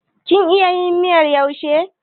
Kin iya yin miyar yaushe?